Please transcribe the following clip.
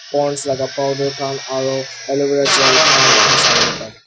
ponds laga powder khan aru alovera gel khan moikhan sabo le pare.